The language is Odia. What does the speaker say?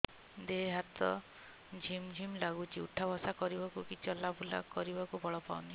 ଦେହେ ହାତ ଝିମ୍ ଝିମ୍ ଲାଗୁଚି ଉଠା ବସା କରିବାକୁ କି ଚଲା ବୁଲା କରିବାକୁ ବଳ ପାଉନି